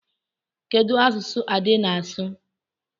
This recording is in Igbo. Kedu asụsụ Ade na-asụ?